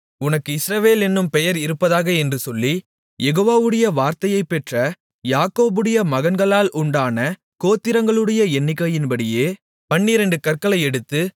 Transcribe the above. உனக்கு இஸ்ரவேல் என்னும் பெயர் இருப்பதாக என்று சொல்லி யெகோவாவுடைய வார்த்தையைப்பெற்ற யாக்கோபுடைய மகன்களால் உண்டான கோத்திரங்களுடைய எண்ணிக்கையின்படியே பன்னிரண்டு கற்களை எடுத்து